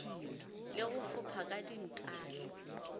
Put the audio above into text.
le go fopha ka dintahle